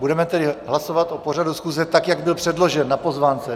Budeme tedy hlasovat o pořadu schůze, tak jak byl předložen na pozvánce.